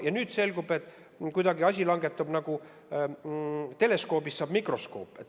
Ja nüüd selgub, et kuidagi teleskoobist saab mikroskoop.